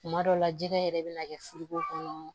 Kuma dɔ la jɛgɛ yɛrɛ bɛna kɛ furu ko kɔnɔ